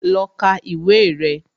Lọ ka ìwé rẹ̀